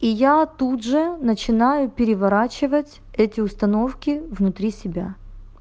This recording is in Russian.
и яя тут же начинаю переворачивать эти установки внутри себя